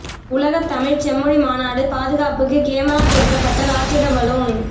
உலகத் தமிழ்ச் செம்மொழி மாநாடு பாதுகாப்புக்கு கேமரா பொருத்தப்பட்ட ராட்சத பலூன்